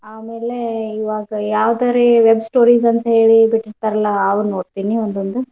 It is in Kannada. ಆಮೇಲೆ ಇವಾಗ ಯಾವ್ದುರೀ web stories ಅಂತೇಳಿ ಬಿಟ್ಟಿರ್ತಾರಲ್ಲಾ ಅವ್ ನೋಡ್ತೀನಿ ಒಂದೊಂದ್.